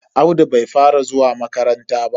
Audu bai fara zuwa makaranta ba.